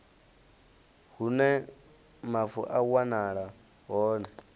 hune mavu a wanala hone